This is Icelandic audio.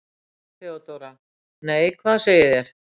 THEODÓRA: Nei, hvað segið þér?